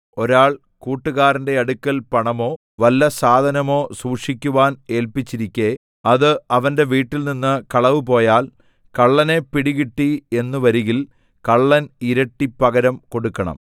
ഒരാൾ കൂട്ടുകാരന്റെ അടുക്കൽ പണമോ വല്ല സാധനമോ സൂക്ഷിക്കുവാൻ ഏല്പിച്ചിരിക്കെ അത് അവന്റെ വീട്ടിൽനിന്ന് കളവുപോയാൽ കള്ളനെ പിടികിട്ടി എന്നു വരികിൽ കള്ളൻ ഇരട്ടി പകരം കൊടുക്കണം